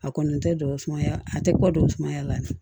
A kɔni tɛ dɔgɔ sumaya a tɛ kɔ dɔgɔ sumaya